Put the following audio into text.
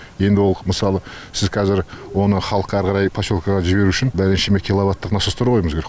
енді ол мысалы сіз қазір оны халыққа әрі қарай поселкеге жіберу үшін бірнеше киловаттық насостар қоюымыз керек